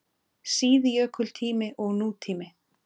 SÍÐJÖKULTÍMI OG NÚTÍMI